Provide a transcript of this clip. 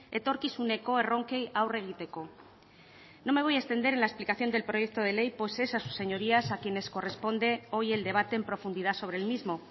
etorkizuneko erronkei aurre egiteko no me voy a extender en la explicación del proyecto de ley pues es a sus señorías a quienes corresponde hoy el debate en profundidad sobre el mismo